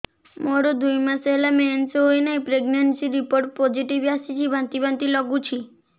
ମୋର ଦୁଇ ମାସ ହେଲା ମେନ୍ସେସ ହୋଇନାହିଁ ପ୍ରେଗନେନସି ରିପୋର୍ଟ ପୋସିଟିଭ ଆସିଛି ବାନ୍ତି ବାନ୍ତି ଲଗୁଛି